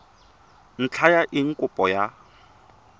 ntlha ya eng kopo ya